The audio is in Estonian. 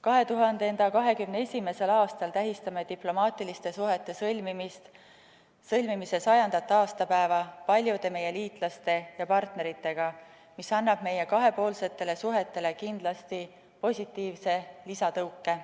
2021. aastal tähistame diplomaatiliste suhete sõlmimise 100. aastapäeva paljude meie liitlaste ja partneritega, mis annab meie kahepoolsetele suhetele kindlasti positiivse lisatõuke.